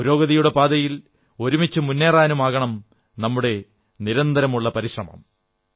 പുരോഗതിയുടെ പാതയിൽ ഒരുമിച്ചു മുന്നേറാനുമാകണം നമ്മുടെ നിരന്തരമുള്ള പരിശ്രമം